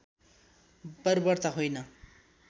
बर्बरता होइन